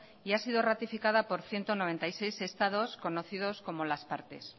y ha sido ratificada por ciento noventa y seis estados conocidos como las partes